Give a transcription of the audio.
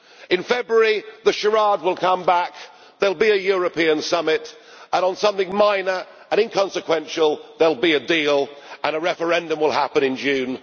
In February the charade will come back there will be a European summit and, on something minor and inconsequential, there will be a deal, and a referendum will happen in June